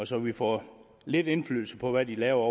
så vi får lidt indflydelse på hvad de laver